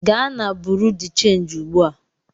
Gaa na bụrụnụ de changị ugbu a!